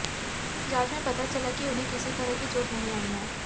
जांच में पता चला कि उन्हें किसी तरह की चोट नहीं आई है